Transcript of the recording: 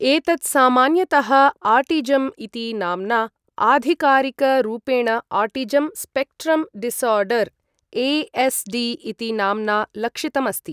एतत् सामान्यतः आटिजम् इति नाम्ना, आधिकारिकरूपेण आटिजं स्पेक्ट्रं डिसार्डर् ए.एस्.डि इति नाम्ना लक्षितम् अस्ति।